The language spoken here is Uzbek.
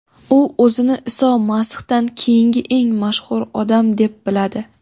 U o‘zini Iso Masihdan keyingi eng mashhur odam deb biladi.